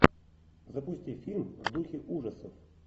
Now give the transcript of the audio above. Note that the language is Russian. запусти фильм в духе ужасов